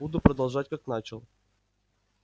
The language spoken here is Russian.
буду продолжать как начал